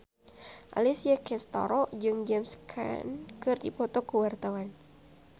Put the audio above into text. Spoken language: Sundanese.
Alessia Cestaro jeung James Caan keur dipoto ku wartawan